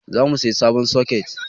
Za mu saya sabon soket